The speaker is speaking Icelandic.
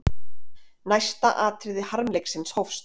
Næsta atriði harmleiksins hófst.